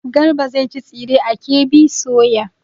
Garba zai ci tsire a KB soya.